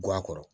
Guwan kɔrɔ